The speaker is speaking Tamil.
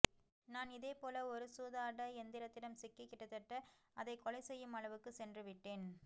நான் இதேபோல ஒரு சூதாட எந்திரத்திடம் சிக்கி கிட்டத்தட்ட அதை கொலைசெய்யுமளவுக்குச் சென்றுவிட்டேன்